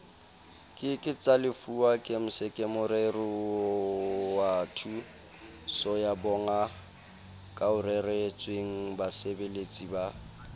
ke ke tsalefuwa gemskemorerowathusoyabongakaoreretswengbasebeletsi ba